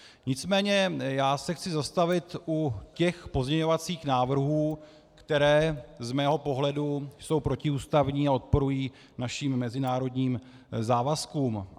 Nicméně já se chci zastavit u těch pozměňovacích návrhů, které z mého pohledu jsou protiústavní a odporují našim mezinárodním závazkům.